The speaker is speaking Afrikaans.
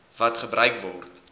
wat gebruik word